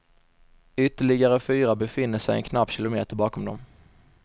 Ytterligare fyra befinner sig en knapp kilometer bakom dem.